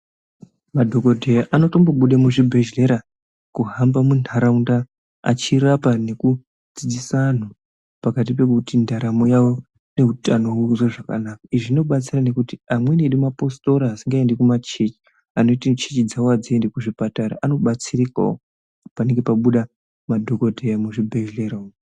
Madhokodheya anotombobude muzvibhedhleya kuhamba muntaraunda achirapa nekudzidzisa anhu pakati pekuti ndaramo yavo neutano zviite zvakanaka. Izvi zvinobatsira nekuti amweni amweni edu mapositora asingaendi kumachini anoti chechi dzawo hadziendi kuzvipatara anobatsirikawo panenge pabuda madhokodheya muzvibhedhlera umu.